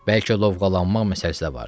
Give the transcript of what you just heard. Bəlkə lovğalanmaq məsələsi də vardır.